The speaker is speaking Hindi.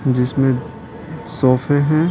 जिसमें सोफे हैं।